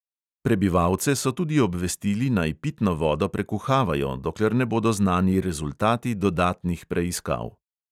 Prebivalce so tudi obvestili, naj pitno vodo prekuhavajo, dokler ne bodo znani rezultati dodatnih preiskav.